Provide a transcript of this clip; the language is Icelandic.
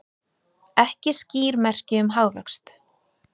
Ekki skýr merki um hagvöxt